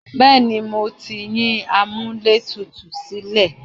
Bẹ́ẹ̀ni, mo ti yín amúlẹ̀tutù sílẹ̀.